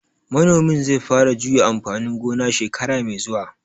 Manomin zai fara juya amfani gona shekara mai zuwa